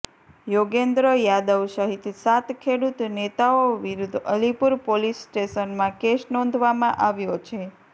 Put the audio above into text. યોગેન્દ્ર યાદવ સહિત સાત ખેડૂત નેતાઓ વિરુદ્ધ અલીપુર પોલીસ સ્ટેશનમાં કેસ નોંધવામાં આવ્યો છે